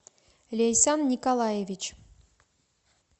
лейсян николаевич